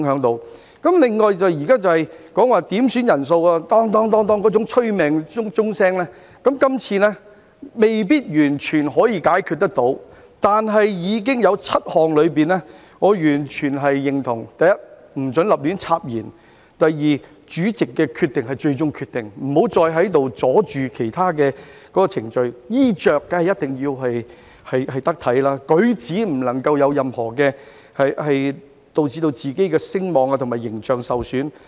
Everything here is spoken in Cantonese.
另外，現在點算法定人數那種"噹噹噹"的催命鐘聲，這次未必完全可以解決，但有7項我完全認同，包括：不准胡亂插言；主席的決定是最終決定，不要再在這裏妨礙其他程序；衣着一定要得體；不能夠有任何舉止導致自己的聲望和形象受損等。